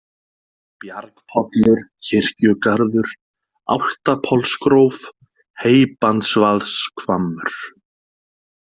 Bjargpollur, Kirkjugarður, Álftapollsgróf, Heybandsvaðshvammur